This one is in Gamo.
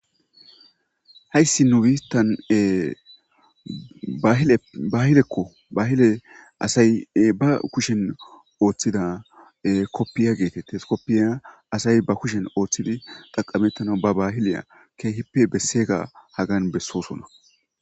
Haysi nu bittan bahileko bahile asay be kushen othida kofiya getetes kofiya asay bakushen oothidi xaqameta be bahileya kihippe besosona